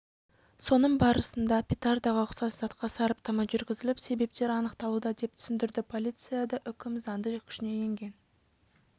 соның барысында петардаға ұқсас затқа сараптама жүргізіліп себептері анықталуда деп түсіндірді полицияда үкім заңды күшіне енген